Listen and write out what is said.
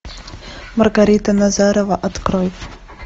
маргарита назарова открой